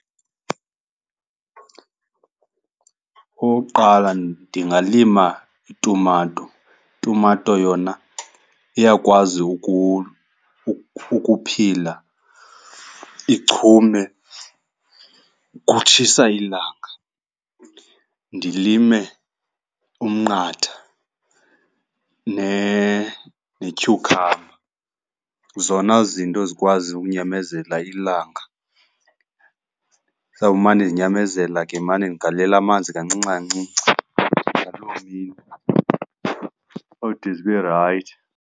Okokuqala ndingalima itumato. Itumato yona iyakwazi ukuphila, ichume kutshisa ilanga. Ndilime umnqatha netyhukhamba, zona zinto zikwaziyo ukunyamezela ilanga. Zizawumane zinyamezela ke ndimane ndigalela amanzi kancinci kancinci ngaloo mini, ode zibe rayithi.